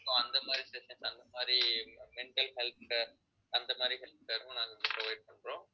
so அந்த மாதிரி session அந்த மாதிரி mental health care அந்த மாதிரி health care உம் நாங்க provide பண்றோம்